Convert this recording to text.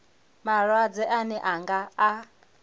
malwadze ane ra nga a